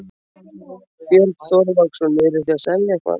Björn Þorláksson: Eruð þið að selja eitthvað?